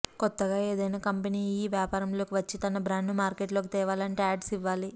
కొత్తగా ఏదైనా కంపెనీ యీ వ్యాపారంలోకి వచ్చి తన బ్రాండ్ను మార్కెట్లోకి తేవాలంటే యాడ్స్ యివ్వాలి